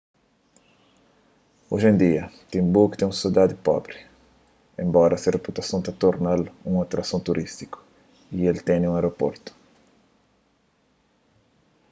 oji en dia tinbuktu é un sidadi pobri enbora se reputason ta torna-l un atrason turístiku y el ten un aeroportu